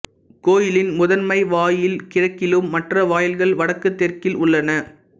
கோயிலின் முதன்மை வாயில் கிழக்கிலும் மற்ற வாயில்கள் வடக்கு தெற்கில் உள்ளன